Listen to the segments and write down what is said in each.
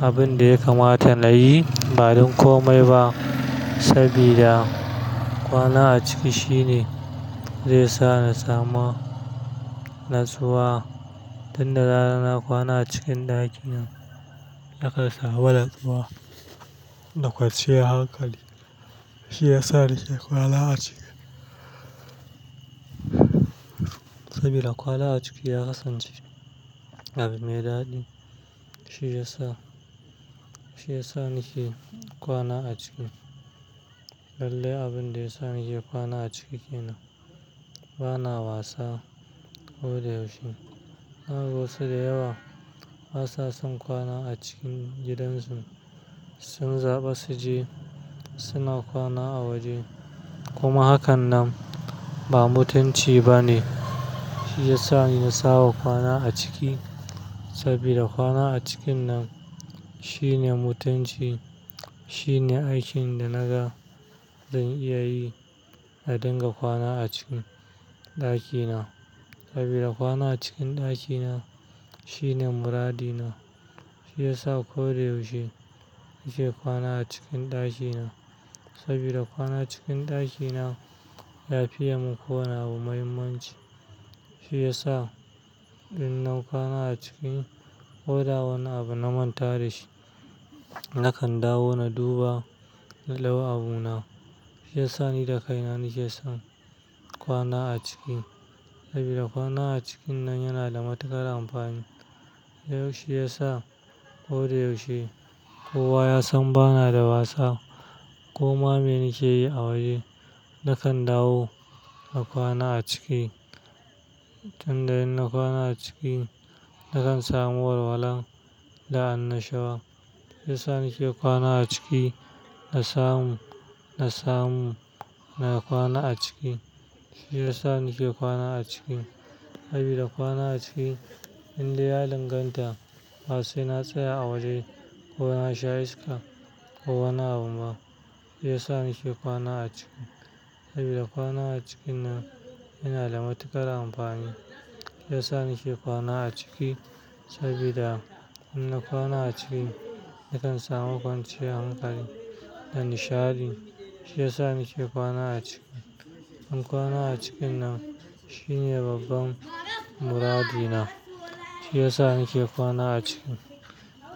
abin da ya kamata nayi ba don kome ba saboda kwana a ciki shine zai sa na samu natsuwa. Tunda za'a kwana a cikin ɗaki na, na ƙan samu natsuwa da kwanciyan hankali. Shi ya sa nake kwana a ciki. Saboda kwana a ciki ya kasance abu mai daɗi. Shi ya sa, shi ya sa nake kwana a ciki. Lallai abin da ya sa nake kwana a ciki kenan ba na wasa ko da yaushe. Zakaga wasu da yawa basa son kwana a cikin gidan su. Sun zaɓi su je suna kwana a waje kuma hakan nan ba mutunci ba ne. Shi ya sa na saba kwana a ciki saboda kwana a cikin nan shine mutunci. Shine aikin da naga zan iya yi na dinga kwana a cikin ɗaki na saboda kwana a cikin ɗaki na shine muradi na. Shi ya sa ko yaushe nake kwana a cikin ɗaki na saboda kwana cikin ɗaki na lafiya mun ko wani abu muhimmanci. Shi ya sa in na kwana a ciki ko da wani abu na manta da shi, na kan dawo na duba na dau abuna. Shi ya sa ni da kaina nake son kwana a ciki saboda kwana a cikin nan yana da matuƙar amfani. Yau shiyasa ko da yaushe kowa ya san bana da wasa. Koma me nake yi a waje na kan dawo na kwana a ciki. Tunda in na kwana a ciki, na kan samu walwala da annashuwa. Shi ya sa nake kwana a ciki. Na samu, na samu na kwana a ciki. Shi ya sa nake kwana a ciki saboda kwana a ciki in dai ya danganta basai na tsaya a waje ko na sha iska ko wani abu ba. Shi ya sa nake kwana a ciki saboda kwana a cikin nan yana da matuƙar amfani. Shi ya sa nake kwana a ciki saboda in na kwana a ciki, na kan samu kwanciyar hankali da nishaɗi. Shi ya sa nake kwana a ciki. In kwana a cikin nan shine babban muradi na. Shi ya sa nake kwana a ciki.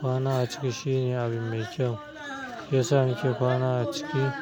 Kwana a ciki shine abin mai kyau. Shi ya sa nake kwana a ciki.